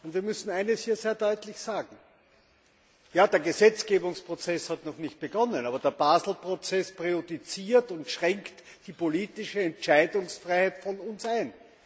Und wir müssen eines hier sehr deutlich sagen Der Gesetzgebungsprozess hat noch nicht begonnen, aber der Basel Prozess präjudiziert und schränkt unsere politische Entscheidungsfreiheit ein.